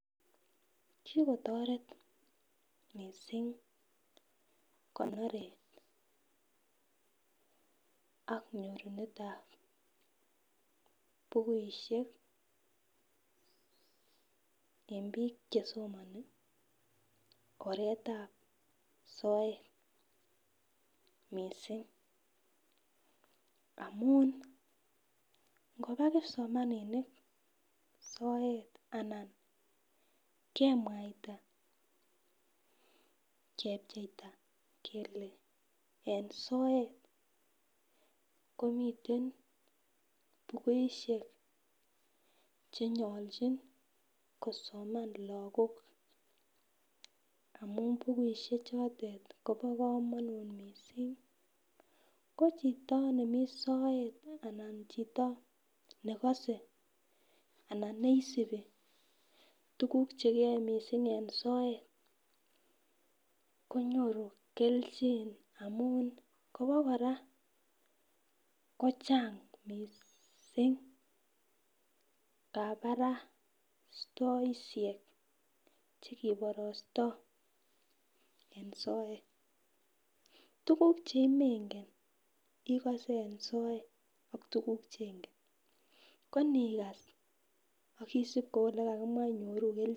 Kikotoret missing' konoret ak nyorunetab bukushek en bik chesomoni oretab soet missing' amun ngoba kipsomaninik soet ana kemwaita kepcheita kele soet komiten bukushek chenyolchin kosoman lokok amun bukushek chotet kobo komonut missing', ko chito nemii soet anan ko nekose anan neisibi tukuk chekiyoe missing' e soet konyoru keljin amun Kobokora kochang missing' kabarastoishek chekiborosto en soet tukuk chemengen ikose en soet ak tukuk chenken ko nikas akisib kou lekakimwa inyoru keljin.